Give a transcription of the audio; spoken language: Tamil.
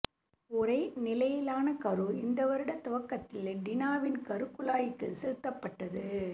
உறை நிலையிலான கரு இந்த வருட துவக்கத்தில் டினாவின் கரு குழாய்க்குள் செலுத்தப்பட்டது